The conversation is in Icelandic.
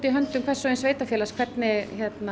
höndum hvers og eins sveitarfélags hvernig